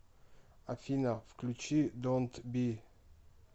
афина включи донт би